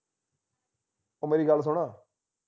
ਉਹ ਮੇਰੀ ਗੱਲ ਸੁਨ